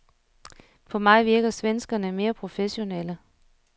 På mig virker svenskerne mere professionelle.